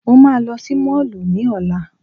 Mo máa lọ sí Mall ní Ọ̀la.